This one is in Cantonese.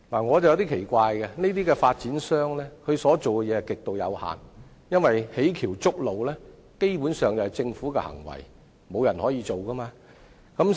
我對此感到奇怪，發展商所做的事情極為有限，因為建橋築路基本上是政府的行為，沒有人可以做到。